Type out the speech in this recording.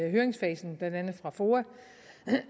i høringsfasen blandt andet fra foa